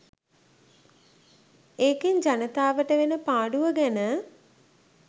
ඒකෙන් ජනතාවට වෙන පාඩුව ගැන